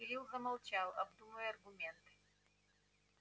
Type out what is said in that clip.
кирилл замолчал обдумывая аргументы